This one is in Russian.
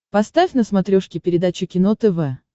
поставь на смотрешке передачу кино тв